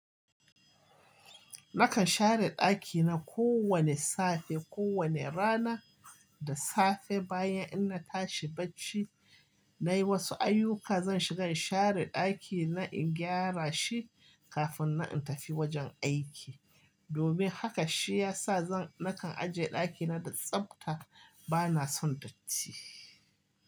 Nakan share ɗakina kowane safe, kowane rana da safe bayan inna tashi bacci nayi wasu ayyuka, zan shiga in share ɗakina in gyara shi kafinnan in tafi wajen aiki. Domin haka shi ya sa zan, nakan aje ɗakina da tsafta bana son datti.